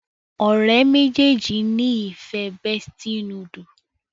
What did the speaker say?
ọ̀rẹ́ méjèèjì ní ìfẹ bestie noodle